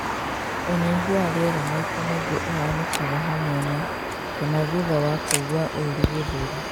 Ũnyihu wa rĩera maita maingĩ ũhanĩkaga hamwe na , kana thutha wa kũigua ũrũ gĩthũri